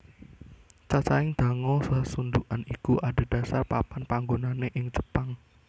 Cacahing dango sasundhukan iku adhedhasar papan panggonane ing Jepang